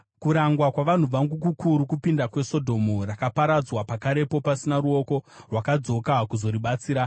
Kurangwa kwavanhu vangu kukuru kupinda kweSodhomu, rakaparadzwa pakarepo pasina ruoko rwakadzoka kuzoribatsira.